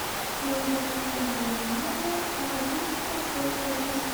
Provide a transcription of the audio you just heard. мне нужно решить проблему в номере обратись в консьерж сервис